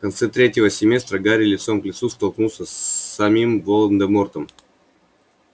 в конце третьего семестра гарри лицом к лицу столкнулся с самим волан-де-мортом